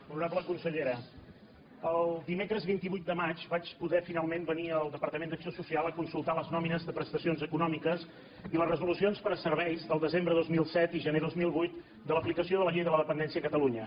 honorable consellera el dimecres vint vuit de maig vaig poder finalment venir al departament d’acció social a consultar les nòmines de prestacions econòmiques i les resolucions per a serveis del desembre dos mil set i gener dos mil vuit de l’aplicació de la llei de la dependència a catalunya